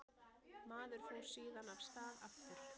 Maður fór síðan af stað aftur.